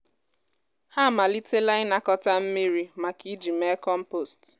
ana m etinye um akpụkpọ banana n’elu ala um ubi m n’oge a.